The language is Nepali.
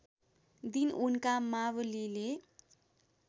दिन उनका मावलीले